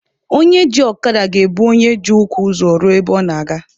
Onye ji ọkada ga-ebu onye ji ụkwụ ụzọ ruo ebe ọ na-aga.